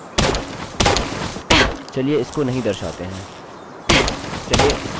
यह ट्यूटोरियल के इस भाग को पूरी तरह से हटा देगा